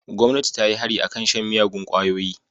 Gomnati ta yi hari a kan shan miyagun kwayoyi.